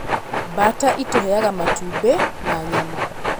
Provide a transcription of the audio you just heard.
Mbaata ĩtũheaga matumbĩ na nyama.